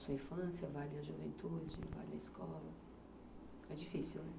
Vale a sua infância, vale a juventude, vale a escola.